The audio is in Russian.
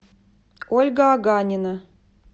ольга аганина